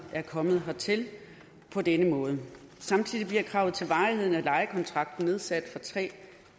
er kommet hertil på denne måde samtidig bliver kravet til varigheden af lejekontrakten nedsat fra tre